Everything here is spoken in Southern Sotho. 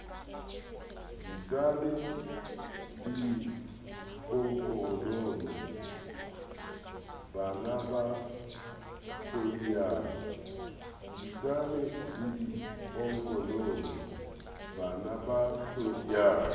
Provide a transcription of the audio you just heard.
disane le bodiponkonono banaba hlodiyang